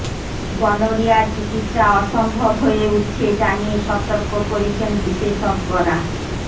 গনোরিয়ার চিকিত্সা অসম্ভব হয়ে উঠছে জানিয়ে সতর্ক করেছেন বিশেষজ্ঞরা